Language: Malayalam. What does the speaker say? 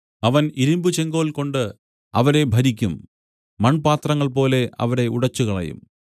അവൻ ഇരുമ്പുചെങ്കോൽകൊണ്ട് അവരെ ഭരിക്കും മൺപാത്രങ്ങൾപോലെ അവരെ ഉടച്ചുകളയും